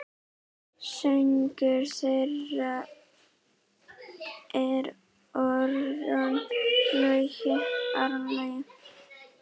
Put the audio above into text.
Sonur þeirra er Aron Logi.